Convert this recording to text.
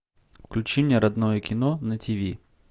включи мне родное кино на тиви